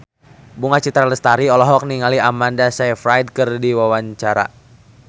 Bunga Citra Lestari olohok ningali Amanda Sayfried keur diwawancara